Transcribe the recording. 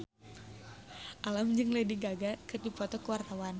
Alam jeung Lady Gaga keur dipoto ku wartawan